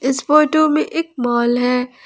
इस फोटो में एक माल है।